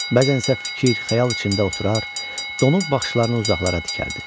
Bəzən isə fikir, xəyal içində oturur, donuq baxışlarını uzaqlara dikərdi.